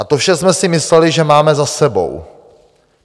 A to vše jsme si mysleli, že máme za sebou.